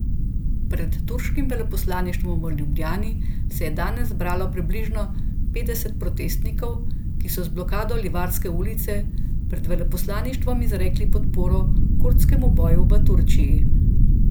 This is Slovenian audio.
Pred turškim veleposlaništvom v Ljubljani se je danes zbralo približno petdeset protestnikov, ki so z blokado Livarske ulice pred veleposlaništvom izrekli podporo kurdskemu boju v Turčiji.